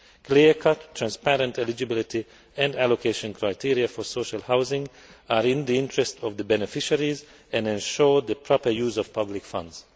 Clear cut, transparent eligibility and allocation criteria for social housing are in the interest of the beneficiaries and ensure the proper use of public funds.